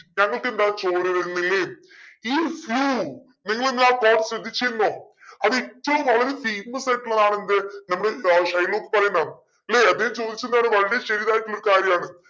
ഞങ്ങക്ക് എന്താ ചോര വരുന്നില്ലേ is you നിങ്ങൾ എല്ലു ആ quote ശ്രദ്ധിച്ചിരുന്നോ. അത് ഏറ്റവും വളരെ famous ആയിട്ടുള്ളതാണെന്ത് നമ്മളെ ഏർ ഷൈലോക്ക് പറയുന്നെന്ന് എന്താണ് വളരെ ശരിയായിട്ടുള്ളൊരു കാര്യാണ്